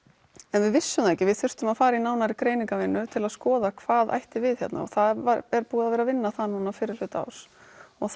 en við vissum ekki að við þyrftum að fara í nánari greiningarvinnu til að skoða hvað ætti við hérna og það er búið að vera að vinna það núna fyrrihluta árs og